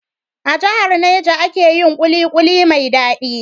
A jahar Niger ake yin kulikuli mai dadi